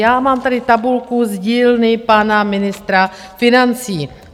Já mám tady tabulku z dílny pana ministra financí.